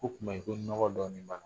K'o kuma in ko nɔgɔ dɔɔni ba la.